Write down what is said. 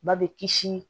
Ba bɛ kisi